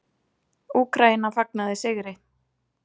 Úkraína fagnaði sigri